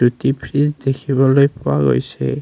দুটি ফ্ৰিজ দেখিবলৈ পোৱা গৈছে।